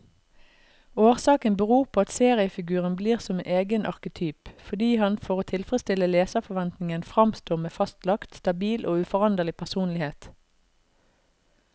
Årsaken beror på at seriefiguren blir som egen arketyp, fordi han for å tilfredstille leserforventningen framstår med fastlagt, stabil og uforanderlig personlighet.